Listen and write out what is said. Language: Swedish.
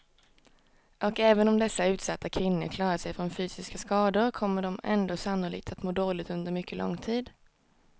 Och även om dessa utsatta kvinnor klarat sig från fysiska skador kommer de ändå sannolikt att må dåligt under mycket lång tid.